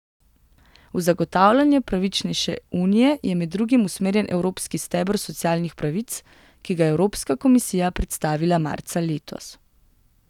V zagotavljanje pravičnejše unije je med drugim usmerjen evropski steber socialnih pravic, ki ga je Evropska komisija predstavila marca letos.